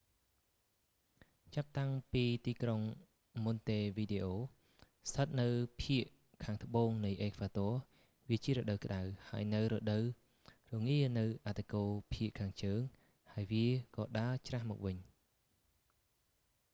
ចាប់តាំងពីទីក្រុង ម៉ុនតេវីដេអូ montevideo ស្ថិតនៅភាគខាងត្បូងនៃអេក្វាទ័រ វាជារដូវក្តៅ ហើយនៅរដូវរងានៅអឌ្ឍគោលភាគខាងជើងហើយវាក៏ដើរច្រាសមកវិញ